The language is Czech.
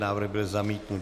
Návrh byl zamítnut.